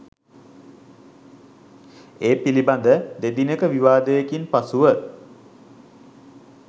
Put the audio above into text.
ඒ පිළිබඳ දෙදිනක විවාදයකින් පසුව